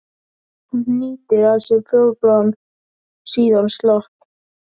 Hún hnýtir að sér fjólubláan, síðan slopp.